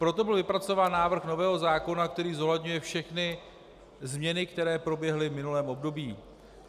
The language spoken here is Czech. Proto byl vypracován návrh nového zákona, který zohledňuje všechny změny, které proběhly v minulém období.